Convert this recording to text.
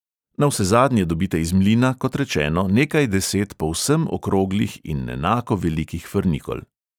Navsezadnje dobite iz mlina, kot rečeno, nekaj deset povsem okroglih in enako velikih frnikol.